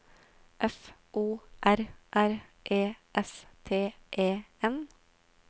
F O R R E S T E N